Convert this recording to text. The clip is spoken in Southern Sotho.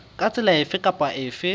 ka tsela efe kapa efe